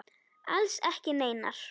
Alls ekki neinar.